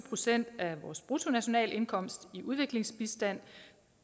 procent af bruttonationalindkomsten i udviklingsbistand